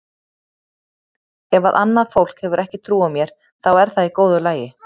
Ef að annað fólk hefur ekki trú á mér þá er það í góðu lagi.